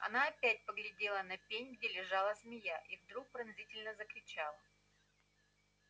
она опять поглядела на пень где лежала змея и вдруг пронзительно закричала